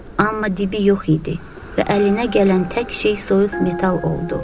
Amma dibi yox idi və əlinə gələn tək şey soyuq metal oldu.